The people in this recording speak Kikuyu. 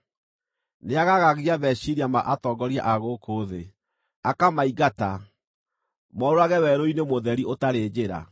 Nĩagaagagia meciiria ma atongoria a gũkũ thĩ; akamaingata, morũũrage werũ-inĩ mũtheri ũtarĩ njĩra.